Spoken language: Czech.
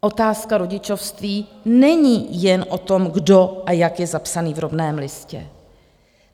Otázka rodičovství není jen o tom, kdo a jak je zapsaný v rodném listě.